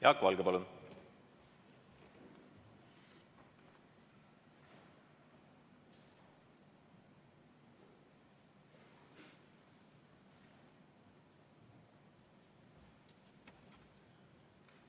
Jaak Valge, palun!